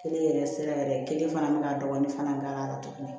Kelen yɛrɛ sira yɛrɛ kelen fana bɛ ka dɔgɔnin fana k'a la tuguni